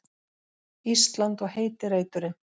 Ísland og heiti reiturinn.